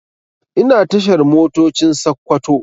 Ina tashar Motocin Sakkwato